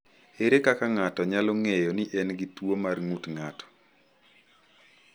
Ere kaka ng’ato nyalo ng’eyo ni en gi tuwo mar ng’ut ng’ato?